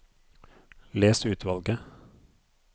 Les utvalget